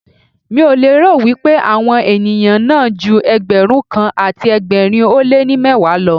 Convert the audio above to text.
Mi ò lérò wípé àwọn ènìyàn náà ju Ẹgbẹ̀rún kan àti ẹgbẹ̀rin ó lé ní mẹ́wàá lọ.